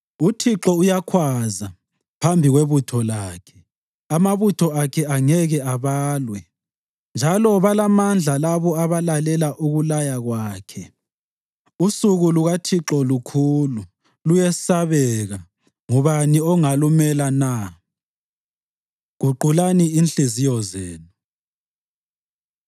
UThixo uyakhwaza phambi kwebutho lakhe; amabutho akhe angeke abalwe, njalo balamandla labo abalalela ukulaya kwakhe. Usuku lukaThixo lukhulu; luyesabeka. Ngubani ongalumela na? Guqulani Inhliziyo Zenu